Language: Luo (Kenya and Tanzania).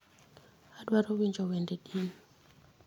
adwaro winjo wende din